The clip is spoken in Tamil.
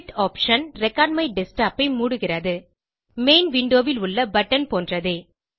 குயிட் தேர்வு ரெக்கார்ட்மைடஸ்க்டாப் ஐ மூடுகிறது மெயின் விண்டோ ல் உள்ள பட்டன் போன்றே